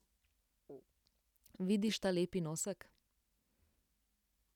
Vidiš ta lepi nosek?